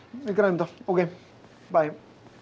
við græjum þetta ókei bæ